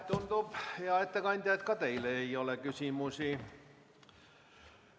Tundub, hea ettekandja, et ka teile küsimusi ei ole.